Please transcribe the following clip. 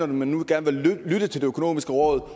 når man nu gerne vil lytte til det økonomiske råd